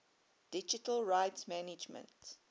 digital rights management